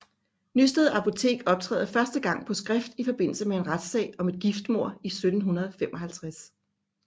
Nysted apotek optræder første gang på skrift i forbindelse med en retssag om et giftmord i 1755